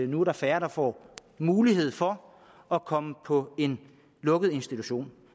nu er færre der får mulighed for at komme på en lukket institution